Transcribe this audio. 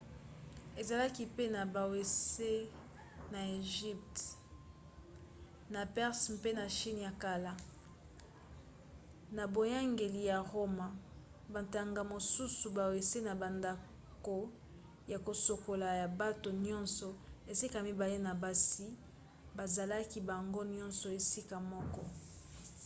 ezalaki pe na bawese na egypte na perse mpe na chine ya kala. na boyangeli ya roma bantango mosusu bawese na bandako ya kosukola ya bato nyonso esika mibale na basi bazalaki bango nyonso esika moko